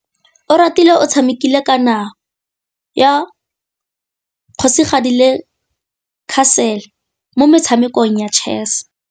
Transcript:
Oratile o tshamekile kananyô ya kgosigadi le khasêlê mo motshamekong wa chess.